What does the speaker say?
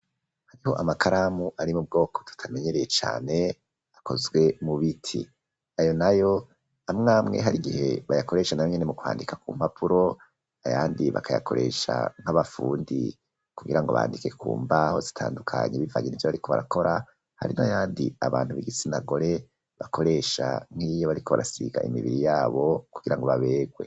Hariho amakaramu ari m'ubwoko tutamenyereye cane akozwe mu biti, ayo nayo amwe amwe har'igihe barakoresha nayonyene m'ukwandika kumpapuro, ayandi bakayakoresha nk'abafundi kugirango bandike kumbaho zitandukanye, bivanye nivyo bariko barakora, Hari n'ayandi abantu b'igitsina gore basiga kumibiri yabo kugirago baberwe.